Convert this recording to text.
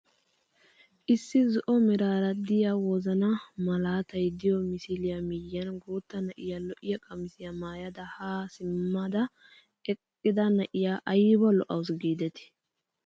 Issi zo'o meraara de'iyaa wozanaa malatay de'iyoo misiliyaa miyiyan guutta na'iyaa lo"iyaa qamisiyaa maayada haa simmada eqqida na'iyaa ayba lo"awus gidetii!